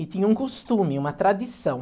E tinha um costume, uma tradição.